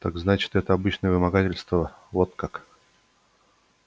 так значит это обычное вымогательство вот как